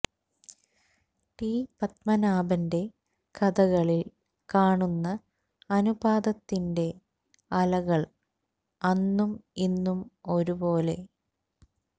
T പത്മനാഭന്റെ കഥകളിൽ കാണുന്ന അനുതാപത്തിന്റെ അലകൾ അന്നും ഇന്നും ഒരു പോലെ